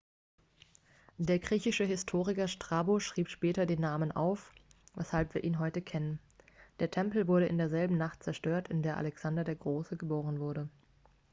der griechische historiker strabo schrieb später den namen auf weshalb wir ihn heute kennen der tempel wurde in derselben nacht zerstört in der alexander der große geboren wurde